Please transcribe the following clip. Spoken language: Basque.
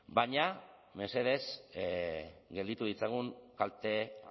baina mesedez gelditu ditzagun kalte